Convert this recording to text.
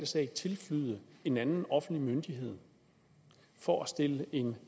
sag tilflyde en anden offentlig myndighed for at stille en